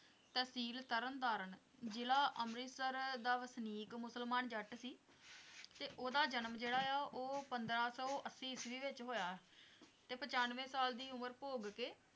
ਤਹਿਸੀਲ ਤਰਨਤਾਰਨ, ਜ਼ਿਲ੍ਹਾ ਅੰਮ੍ਰਿਤਸਰ ਦਾ ਵਸਨੀਕ ਮੁਸਲਮਾਨ ਜੱਟ ਸੀ ਤੇ ਉਹਦਾ ਜਨਮ ਜਿਹੜਾ ਆ ਉਹ ਪੰਦਰਾਂ ਸੌ ਅੱਸੀ ਈਸਵੀ ਵਿੱਚ ਹੋਇਆ ਤੇ ਪਚੰਨਵੇਂ ਸਾਲ ਦੀ ਉਮਰ ਭੋਗ ਕੇ